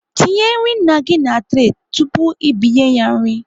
Tinye nri nna gị na turay tụpụ ị binye ya nri